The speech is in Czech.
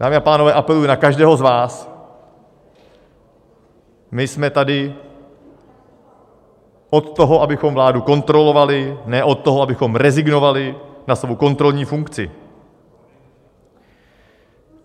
Dámy a pánové, apeluji na každého z vás: my jsme tady od toho, abychom vládu kontrolovali, ne od toho, abychom rezignovali na svou kontrolní funkci.